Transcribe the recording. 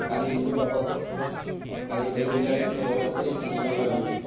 কালিৰ দিনটো আহক, কালিৰ planning বিলাক তুমিটো মনত আছেই, কি কি কৰিম আমি।